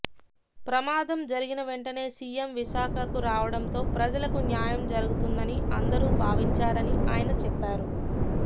ప్రమాదం జరిగిన వెంటనే సీఎం విశాఖకు రావడంతో ప్రజలకు న్యాయం జరుగుతుందని అందరూ భావించారని ఆయన చెప్పారు